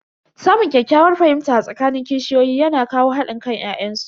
Samun ƙyakkyawar fahimta a tsakanin kishiyoyi yana kawo hadin kan ya'yan su.